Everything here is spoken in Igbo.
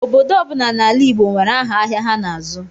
Obodo ọbula n'ala Igbo nwere áhà ahịa ha n'azụ.